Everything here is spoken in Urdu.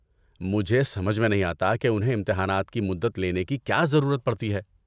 مجھے سمجھ میں نہیں آتا کہ انھیں امتحانات کی مدت لینے کی کیا ضرورت پڑتی ہے۔